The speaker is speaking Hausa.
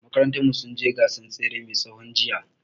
Makarantar mu sun je gasan tsere mai tsawo jiya